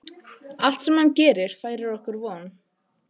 Allt sem hann gerir færir okkur von.